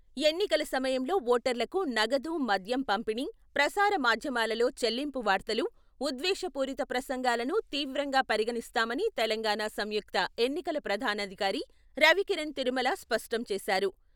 ఎన్నికల సమయంలో ఓటర్లకు నగదు మద్యం పంపిణీ, ప్రసార మాధ్యమాలలో చెల్లింపు వార్తలు, ఉద్వేష పూరిత ప్రసంగాలను తీవ్రంగా పరిగణిస్తామని తెలంగాణ సంయుక్త ఎన్నికల ప్రధానాధికారి రవికిరణ్ తిరుమల స్పష్టం చేసారు.